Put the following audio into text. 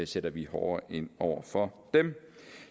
sætter vi hårdere ind over for dem